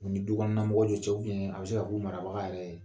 U ni du kɔnɔna mɔgɔw te cogo miin, a bɛ se ka k'u marabaga yɛrɛ ye.